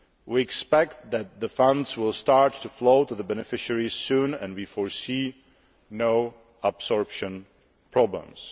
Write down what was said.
We expect that the funds will start to flow to the beneficiaries soon and we foresee no absorption problems.